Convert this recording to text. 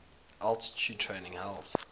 altitude training helped